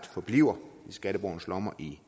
forbliver i skatteborgernes lommer i